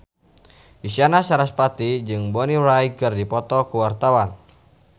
Isyana Sarasvati jeung Bonnie Wright keur dipoto ku wartawan